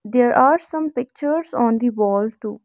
there are some pictures on the wall too.